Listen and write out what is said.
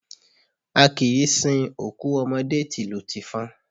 A kìí sin òkú ọmọdé tìlù tìfọn.